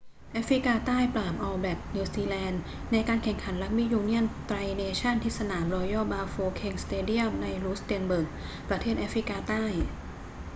แอฟริกาใต้ปราบออลแบล็กส์ นิวซีแลนด์ ในการแข่งขันรักบี้ยูเนี่ยนไตรเนชั่นส์ที่สนามรอยัลบาโฟเค็งสเตเดียมในรูสเต็นเบิร์ก ประเทศแอฟริกาใต้